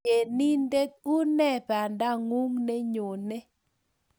Tienindet une bandangung nenyone